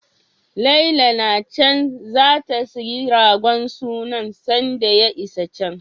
Lala na can zata sayi ragon sunan sanda ya isa can.